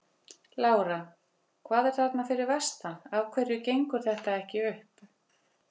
Lára: Hvað er að þarna fyrir vestan, af hverju gengur þetta ekki upp?